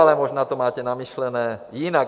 Ale možná to máte vymyšlené jinak.